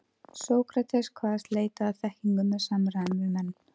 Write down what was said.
Sókrates kvaðst leita að þekkingu með samræðum við menn.